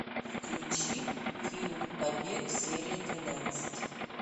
включи фильм побег серия двенадцать